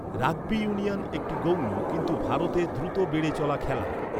Rugby union একটি গৌণ, কিন্তু ভারতে দ্রুত বেড়ে চলা খেলা।